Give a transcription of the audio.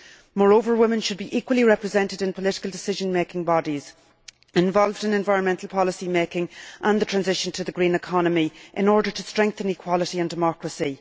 Moreover, women should be equally represented in political decision making bodies and involved in environmental policy making and the transition to the green economy in order to strengthen equality and democracy.